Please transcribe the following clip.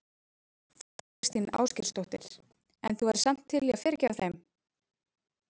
Þóra Kristín Ásgeirsdóttir: En þú værir samt til í að fyrirgefa þeim?